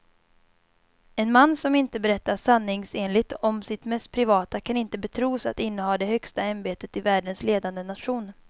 En man som inte berättar sanningsenligt om sitt mest privata kan inte betros att inneha det högsta ämbetet i världens ledande nation.